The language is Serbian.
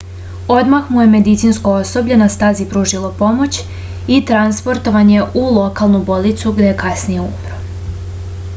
odmah mu je medicinsko osoblje na stazi pružilo pomoć i transportovan je u lokalnu bolnicu gde je kasnije umro